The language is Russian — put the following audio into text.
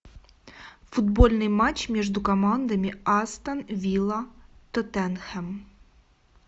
футбольный матч между командами астон вилла тоттенхэм